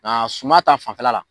Nka suman ta fanfɛla la